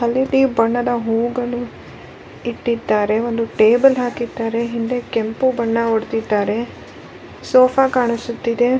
ಹಳದಿ ಬಣ್ಣದ ಹೂಗಳು ಇಟ್ಟಿದ್ದಾರೆ ಒಂದು ಟೇಬಲ್ ಹಾಕಿದ್ದಾರೆ ಹಿಂದೆ ಕೆಂಪು ಬಣ್ಣ ಹೊಡ್ದಿದ್ದಾರೆ ಸೊಫ ಕಾಣಿಸುತ್ತಿದೆ.